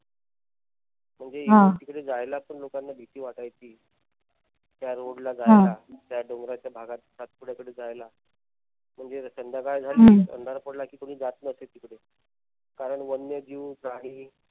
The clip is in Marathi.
म्हणजे इकडे जायला लोकांना भीती वाटायची त्या road ला जायला. त्या डोंगराच्या भागात सातपुडाकडे जायला. म्हणजे संध्याकाळ झाली अंधार पडला कि कोणी जात नसे तिकडे कारण वन्यजीव झाडी